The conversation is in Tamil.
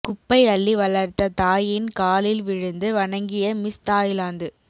குப்பை அள்ளி வளர்த்த தாயின் காலில் விழுந்து வணங்கிய மிஸ் தாய்லாந்து